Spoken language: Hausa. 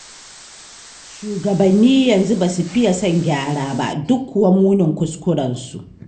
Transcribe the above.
Shugabannin yanzu ba su fiya son gyara ba, duk kuwa munin kuskurensu.